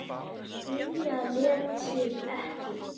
Lilja lét sig ekki.